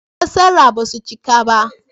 Fassarar ba su cika ba